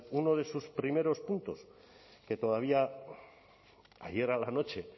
uno de sus primeros puntos que todavía ayer a la noche